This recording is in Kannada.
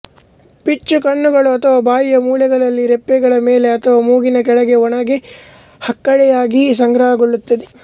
ಪಿಚ್ಚು ಕಣ್ಣುಗಳು ಅಥವಾ ಬಾಯಿಯ ಮೂಲೆಗಳಲ್ಲಿ ರೆಪ್ಪೆಗಳ ಮೇಲೆ ಅಥವಾ ಮೂಗಿನ ಕೆಳಗೆ ಒಣಗಿ ಹಕ್ಕಳೆಯಾಗಿ ಸಂಗ್ರಹಗೊಳ್ಳುತ್ತದೆ